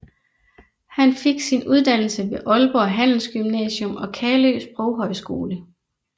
Han fik sin uddannelse ved Aalborg Handelsgymnasium og Kalø Sproghøjskole